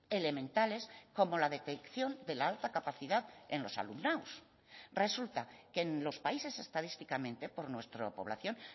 elementales como la detección de la alta capacidad en los alumnados resulta que en los países estadísticamente por nuestra población